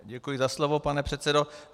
Děkuji za slovo, pane předsedo.